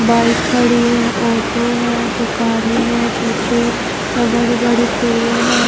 Bike खड़ी है auto है दुकाने है पीछे बड़े बड़े पेड़ है।